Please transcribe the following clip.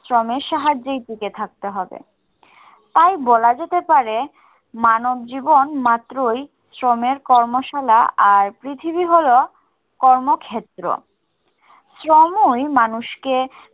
শ্রমের সাহায্যেই টিকে থাকতে হবে। তাই বলা যেতে পারে মানবজীবন মাত্রই শ্রমের কর্মশালা আর পৃথিবী হলো কর্মক্ষেত্র শ্রমই মানুষকে